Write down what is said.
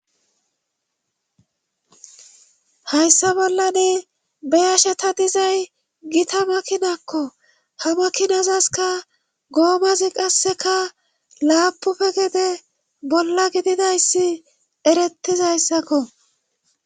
hayssa bollane be ashe ta dizay gita makinakko ha makinazaska goomazi qasseka laapufe gede bolla gididayssi erettizayssakko